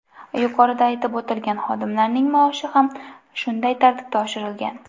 Yuqorida aytib o‘tilgan xodimlarning maoshi ham shunday tartibda oshirilgan.